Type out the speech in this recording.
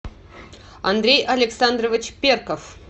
андрей александрович перков